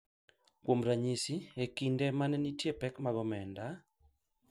Kuom ranyisi, e kinde ma ne nitie pek mag omenda, .